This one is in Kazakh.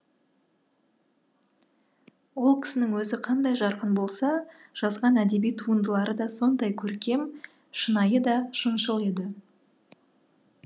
ол кісінің өзі қандай жарқын болса жазған әдеби туындылары да сондай көркем шынайы да шыншыл еді